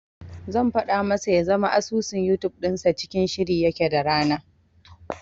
Zan faɗa masa ya zama asusun Yutub dinsa cikin shiri yake da rana.